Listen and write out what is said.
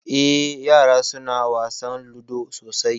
Eh ƴara suna wasan ludo sosai.